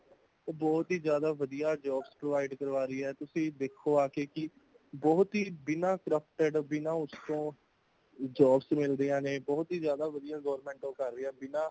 ਉਹ ਬਹੁਤ ਹੀ ਜ਼ਿਆਦਾ ਵਧੀਆ jobs provide ਕਰਵਾ ਰਹੀਹੇ ਤੁਸੀਂ ਦੇਖੋ ਆਕੇ ਕਿ ,ਬਹੁਤ ਹੀ ਬਿਨਾਂ corrupted ਬਿਨਾਂ ਉਸਤੋ , jobs ਮਿਲ਼ ਰਹੀਆਂ ਨੇ ਬਹੁਤ ਹੀ ਜਿਆਦਾ government ਕਾਰ ਰਹੀ ਹੈ ਬਿਨਾਂ